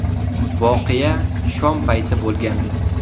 Voqea shom payti bo‘lgandi.